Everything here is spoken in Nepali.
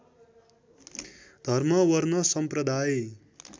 धर्म वर्ण सम्प्रदाय